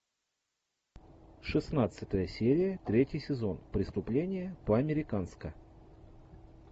шестнадцатая серия третий сезон преступление по американска